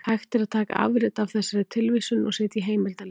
Hægt er að taka afrit af þessari tilvísun og setja í heimildalista.